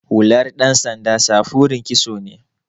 Hular ɗan sanda samfurin kitso ne.